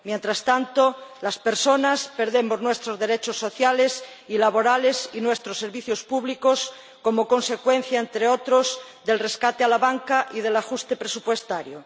Mientras tanto, las personas perdemos nuestros derechos sociales y laborales y nuestros servicios públicos como consecuencia, entre otros, del rescate a la banca y del ajuste presupuestario.